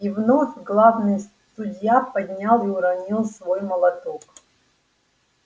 и вновь главный судья поднял и уронил свой молоток